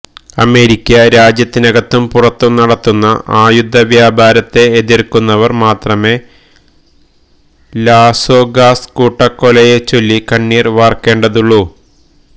America രാജ്യത്തിനകത്തും പുറത്തും നടത്തുന്ന ആയുധവ്യാപാരത്തെ എതിര്ക്കുന്നവര് മാത്രമേ ലാസ്വെഗാസ് കൂട്ടക്കൊലയെച്ചൊല്ലി കണ്ണീര് വാര്ക്കേണ്ടതുള്ളൂ